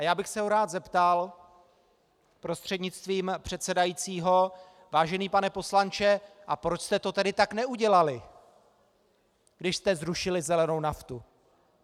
A já bych se ho rád zeptal prostřednictvím předsedajícího: Vážený pane poslanče, a proč jste to tedy tak neudělali, když jste zrušili zelenou naftu?